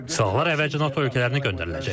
Silahlar əvvəlcə NATO ölkələrinə göndəriləcək.